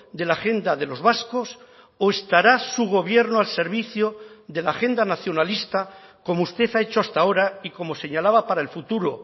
de la agenda de los vascos o estará su gobierno al servicio de la agenda nacionalista como usted ha hecho hasta ahora y como señalaba para el futuro